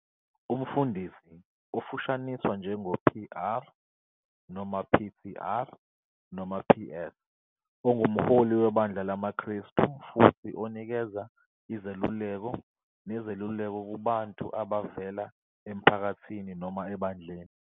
Umfundisi, ofushaniswe njengo "Pr" noma "Ptr", noma "Ps", ungumholi webandla lamaKrestu futhi onikeza izeluleko nezeluleko kubantu abavela emphakathini noma ebandleni.